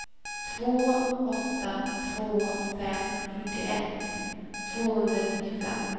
två åtta två fem fyrtioett tvåhundranittiofem